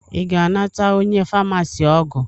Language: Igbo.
Ị ga-anata onye famasi ọgwụ?